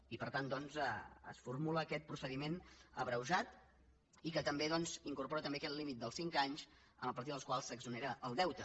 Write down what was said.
i per tant doncs es formula aquest procediment abreujat i que també incorpora aquest límit dels cinc anys a partir dels quals s’exonera el deute